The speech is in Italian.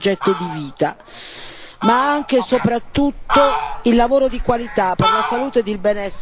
ma anche e soprattutto lavoro di qualità per la salute e il benessere, appunto, dei lavoratori.